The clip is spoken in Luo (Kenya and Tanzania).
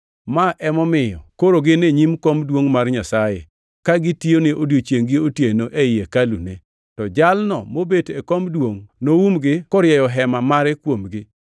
Ma emomiyo, “koro gin e nyim kom duongʼ mar Nyasaye, ka gitiyone odiechiengʼ gi otieno ei hekalune; to Jalno mobet e kom duongʼ noumgi korieyo hema mare kuomgi.